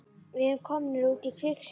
Við erum komnir út í kviksyndið!